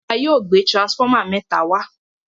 ìjọba yóò gbé transformer méta wá.